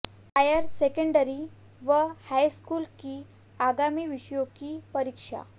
higher secondary व high school की आगामी विषयों की परीक्षा